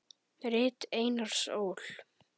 Rit Einars Ól.